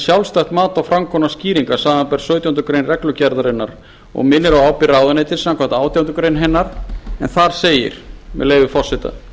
sjálfstætt mat á framkomnar skýringar samanber sautjándu grein reglugerðarinnar hún minnir á ábyrgð ráðuneytisins samkvæmt átjándu grein hennar en þar segir með leyfi forseta